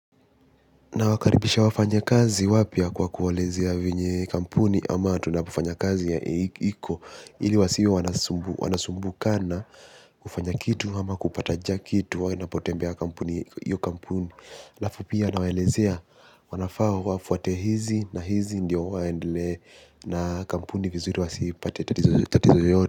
Nawakaribisha wafanya kazi wapya kwa kuwahelezea venye kampuni ama tunapufanya kazi iko ili wasiwe wanasumbuka wanasumbukana kufanya kitu hama kupata kitu wana potembea kampuni iyo kampuni alafu pia nawalezea wanafaa wafuhate hizi na hizi ndiyo waendele na kampuni vizuri wasipate tatizo lolote.